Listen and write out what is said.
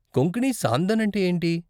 కొంకణీ సాందన్ అంటే ఏంటి?